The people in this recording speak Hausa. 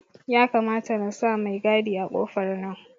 Ya kamata nasa mai gadi a kofar nan